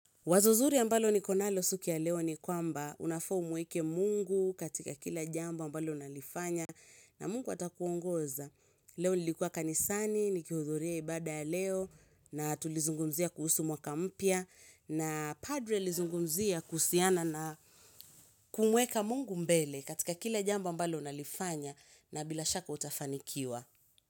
Wazo zuri ambalo niko nalo siku ya leo ni kwamba unafaa umweke mungu katika kila jambo ambalo unalifanya na mungu atakuongoza. Leo nilikua kanisani, nikihudhuria ibada ya leo na tulizungumzia kuhusu mwaka mpya na padri alizungumzia kuhusiana na kumweka mungu mbele katika kila jambo ambalo nalifanya na bila shaka utafanikiwa.